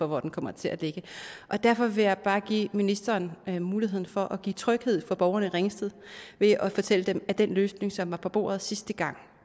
hvor den kommer til at ligge derfor ville jeg bare give ministeren mulighed for at give tryghed for borgerne i ringsted ved at fortælle dem at den løsning som var på bordet sidste gang